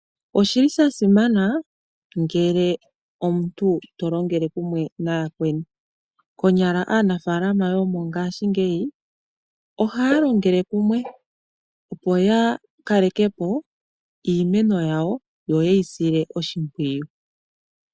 Oshili sha simana ngele omuntu tolongele kumwe nooyakweni . Konyala aanafaalama yomongashingeyi ohaya longele kumwe opo ya kaleke po iimeno yawo yo yeyi sile oshimpwiyu.